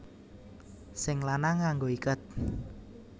Sing lanang nganggo iket